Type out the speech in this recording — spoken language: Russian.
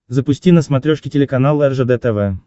запусти на смотрешке телеканал ржд тв